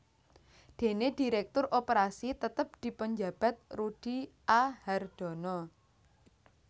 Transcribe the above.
Dene dhiréktur operasi tetep dipunjabat Rudi A Hardono